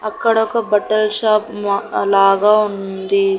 అక్కడొక బట్టల షాప్ లాగా ఉంది.